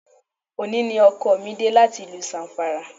Òní ni ọkọ mi dé láti ìlú Zamfara